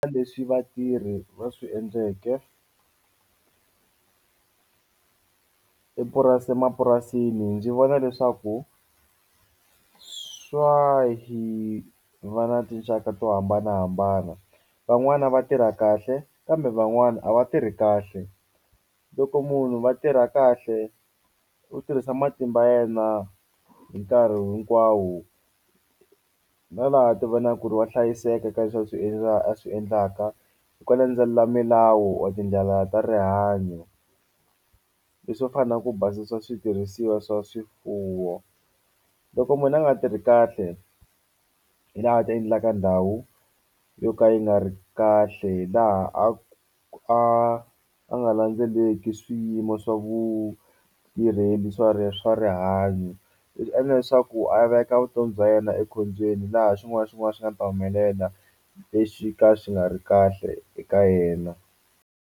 leswi vatirhi va swi endleke emapurasini ndzi vona leswaku swa hi va na tinxaka to hambanahambana van'wana va tirha kahle kambe van'wani a va tirhi kahle loko munhu va tirha kahle u tirhisa matimba yena hi nkarhi hinkwawo na laha a ti vona ku ri wa hlayiseka ka leswi a swi a swi endlaka landzelela milawu or tindlela ta rihanyo leswo fana ku basisa switirhisiwa swa swifuwo loko munhu a nga tirhi kahle hi laha ti endlaka ndhawu yo ka yi nga ri kahle laha a a nga landzeleki swiyimo swa vutirheli swa swa rihanyo endla leswaku a veka vutomi bya yena ekhombyeni laha xin'wana na xin'wana xi nga ta humelela lexi ka xi nga ri kahle eka yena.